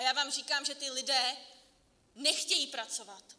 A já vám říkám, že ti lidé nechtějí pracovat.